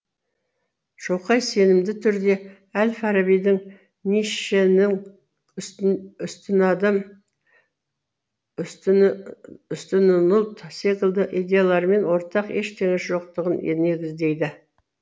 шоқай сенімді түрде әл фарабидің ницшенің үстінадам үстінұлт секілді идеяларымен ортақ ештеңе жоқтығын негіздейді